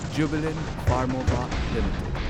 Jubilant Pharmova limited